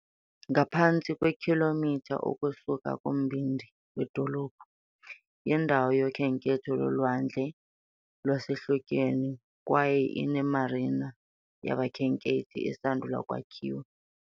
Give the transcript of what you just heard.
Ngaphantsi kwekhilomitha ukusuka kumbindi wedolophu, yindawo yokhenketho lolwandle lwasehlotyeni kwaye ine-marina yabakhenkethi esandula ukwakhiwa.